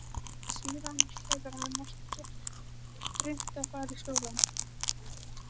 Síðan hefur hann ekkert reynt að fara í skóla.